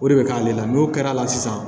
O de bɛ k'ale la n'o kɛra sisan